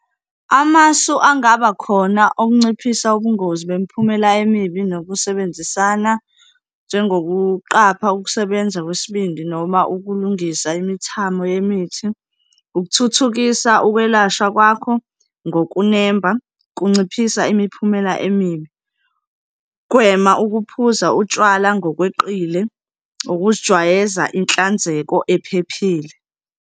Amasu angaba khona okunciphisa ubungozi bemiphumela emibi nokusebenzisana njengokuqapha ukusebenza kwesibindi noma ukulungisa imithamo yemithi, ukuthuthukisa ukwelashwa kwakho ngokunemba kunciphisa imiphumela emibi, ukuphuza utshwala ngokweqile, ukuzijwayeza inhlanzeko ephephile.